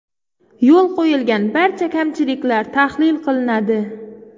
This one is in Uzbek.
Yo‘l qo‘yilgan barcha kamchiliklar tahlil qilinadi.